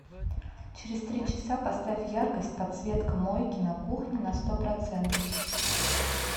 через три часа поставь яркость подсветка мойки на кухне на сто процентов